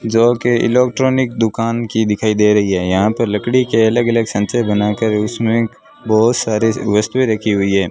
जो के इलेक्ट्रॉनिक दुकान की दिखाई दे रही है यहां पे लकड़ी के अलग अलग सांचे बनाकर उसमें बहुत सारे वस्तुएं रखी हुई है।